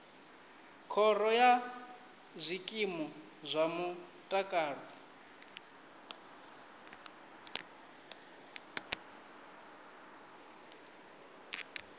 khoro ya zwikimu zwa mutakalo